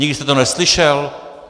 Nikdy jste to neslyšel?